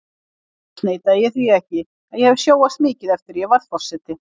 Annars neita ég því ekki að ég hef sjóast mikið eftir að ég varð forseti.